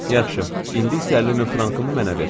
"Yaxşı, indi isə əlli min frankımı mənə ver."